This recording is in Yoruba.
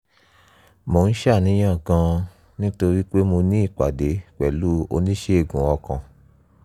mo ń ṣàníyàn gan-an nítorí pé mo ní ìpàdé pẹ̀lú oníṣègùn ọkàn